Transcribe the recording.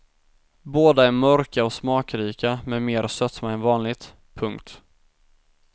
Båda är mörka och smakrika med mer sötma än vanligt. punkt